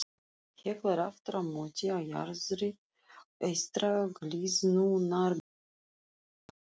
Hekla er aftur á móti á jaðri eystra gliðnunarbeltisins á